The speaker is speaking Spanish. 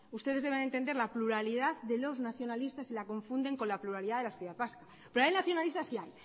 ustedes deben entender la pluralidad de los nacionalistas y la confunden con la pluralidad de la sociedad vasca pero ahí nacionalistas hay